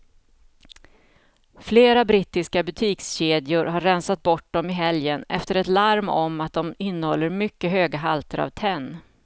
Flera brittiska butikskedjor har rensat bort dem i helgen efter ett larm om att de innehåller mycket höga halter av tenn.